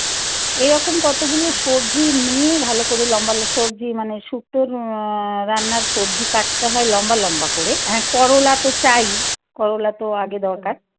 এরকম কতগুলো সবজি নিয়ে ভালো করে লম্বা সবজি মানে শুক্তো রান্নার সবজি কাটতে হয় লম্বা লম্বা করে. হ্যাঁ করলা তো চাই করলা তো আগে দরকার